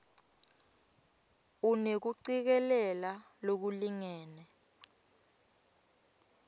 unekucikelela lolulingene